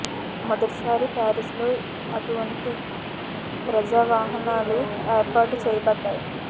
మొదటి సారి పారిస్ లో అటువంటి ప్రజా వాహనాలు ఏర్పాటు చేయబడ్డాయి